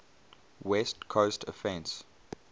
west coast offense